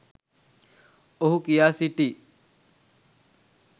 ඔහු කියා සිටී